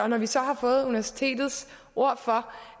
når vi så har fået universitetets ord for